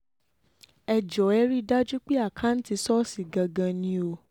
ẹ jọ̀ọ́ ẹ rí i dájú pé àkáǹtì ṣọ́ọ̀ṣì gangan ni o